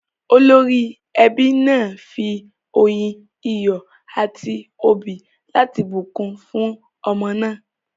Olórí ẹbí náà fi oyin, iyọ̀ a ti òbí láti bùnkún fún ọmọ náà.